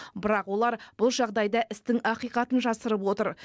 бірақ олар бұл жағдайда істің ақиқатын жасырып отыр